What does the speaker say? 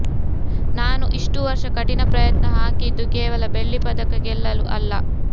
ನಾನು ಇಷ್ಟು ವರ್ಷ ಕಠಿಣ ಪ್ರಯತ್ನ ಹಾಕಿದ್ದು ಕೇವಲ ಬೆಳ್ಳಿ ಪದಕ ಗೆಲ್ಲಲು ಅಲ್ಲ